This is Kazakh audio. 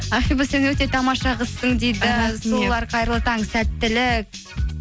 ақбибі сен өте тамаша қызсың дейді сұлулар қайырлы таң сәттілік